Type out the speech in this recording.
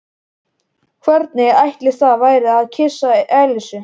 Hvernig ætli það væri að kyssa Elísu?